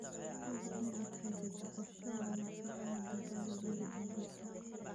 Hubi in aad haysatid qorshe wanaagsan oo digaagga lagu iibiyo suuqa.